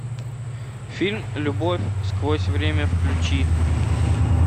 фильм любовь сквозь время включи